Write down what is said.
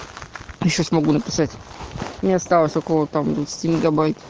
я сейчас не могу написать у меня осталось там около двадцати мегабайт